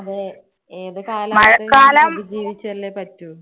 അതേ ഏത് കാലാവസ്ഥയും അനുസരിച്ച് ജീവിച്ചല്ലേ പറ്റൂ.